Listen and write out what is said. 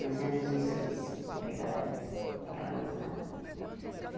Nós éramos em seis empregados ali naquela mansão.